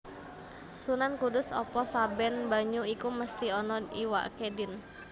Sunan Kudus Apa saben banyu iku mesti ana iwaké Din